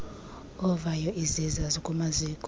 ovayo iziza zikumaziko